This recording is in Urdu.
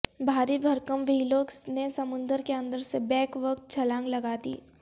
بھاری بھرکم وہیلوں نے سمندر کے اندر سے بیک وقت چھلانگ لگادی